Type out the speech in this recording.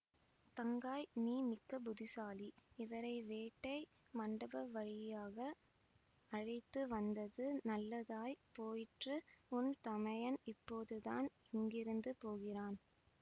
தங்காய் நீ மிக்க புத்திசாலி இவரை வேட்டை மண்டப வழியாக அழைத்து வந்தது நல்லதாய் போயிற்று உன் தமையன் இப்போதுதான் இங்கிருந்து போகிறான்